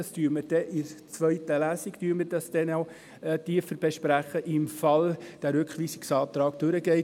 Das werden wir in der zweiten Lesung dann noch eingehender besprechen, falls der Rückweisungsantrag durchkommt.